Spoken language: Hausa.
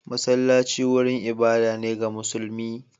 Masallaci wurin ibada ne ga musulmi.